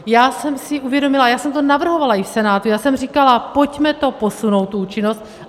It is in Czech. Já jsem si uvědomila, já jsem to navrhovala i v Senátu, á jsem říkala: pojďme to posunout tu účinnost.